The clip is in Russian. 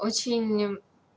очень